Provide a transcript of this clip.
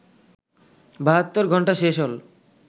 বাহাত্তর ঘণ্টা শেষ হল